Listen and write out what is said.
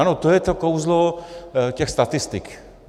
Ano, to je to kouzlo těch statistik.